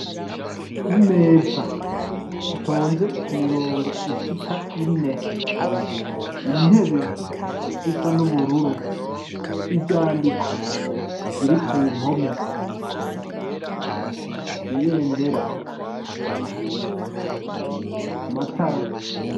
Imeza zitonze ku mirongo ishika ine, intebe zisa n'ubururu, ivyandiko biri ku mpome, ibendera, amatara.